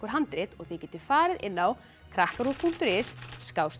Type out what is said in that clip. handrit og þið getið farið inn á krakkaruv punktur is